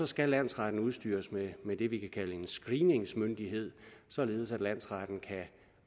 skal landsretten udstyres med med det vi kan kalde en screeningsmyndighed således at landsretten kan